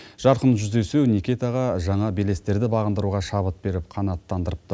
жарқын жүздесу никитаға жаңа белестерді бағындыруға шабыт беріп қанаттандырыпты